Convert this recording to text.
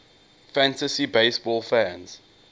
fantasy baseball fans